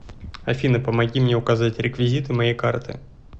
афина помоги мне указать реквизиты моей карты